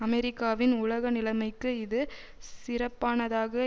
அமெரிக்காவின் உலக நிலைமைக்கு இது சிறப்பானதாக